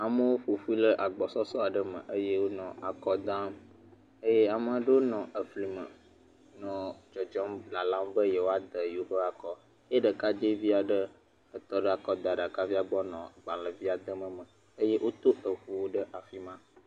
Amewo ƒo ƒu ɖe agbɔsɔsɔ aɖe me eye wonɔ akɔdam eye ame aɖewo nɔ fli me nɔ dzɔdzɔm nɔ lalam be yewoade yewo ƒe akɔ ye ɖekadzɛvi aɖe tɔ ɖe akadaɖakavia gbɔ nɔ agbalẽvia dem eme eye woto ŋuwo ɖe afi ma.